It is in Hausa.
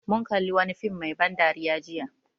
Mun kalli wani fim mai ban dariya jiya